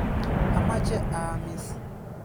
Amache aamis.